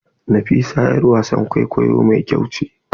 Nafisa yar wasan kwaikwayo mai kyau ce.